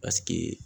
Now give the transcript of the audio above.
Paseke